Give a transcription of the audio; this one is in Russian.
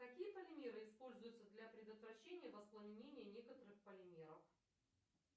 какие полимеры используются для предотвращения воспламенения некоторых полимеров